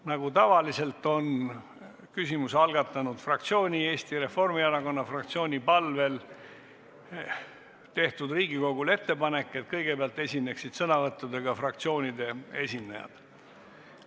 Nagu tavaliselt on küsimuse algatanud fraktsiooni, Eesti Reformierakonna fraktsiooni palvel tehtud Riigikogule ettepanek, et kõigepealt esineksid sõnavõttudega fraktsioonide esindajad.